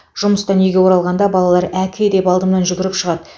жұмыстан үйге оралғанда балалар әке деп алдымнан жүгіртіп шығады